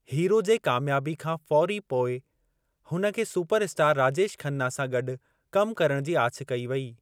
Hero जे कामयाबी खां फ़ौरी पोइ हुन खे सुपर स्टार राजेश खन्ना सां गॾु कम करणु जी आछ कई वेई।